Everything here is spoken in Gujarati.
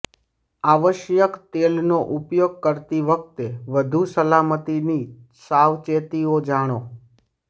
આવશ્યક તેલનો ઉપયોગ કરતી વખતે વધુ સલામતીની સાવચેતીઓ જાણો